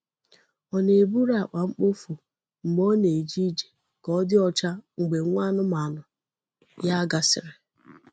O na-eburu akpa mkpofu mgbe ọ na-eje ije ka ọ dị ọcha mgbe nwa anụmanụ ya gasịrị.